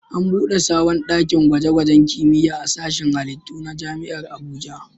An buɗe sabon ɗakin gwaje-gwajen kimiyya a sashin halittu na Jami'ar Abuja.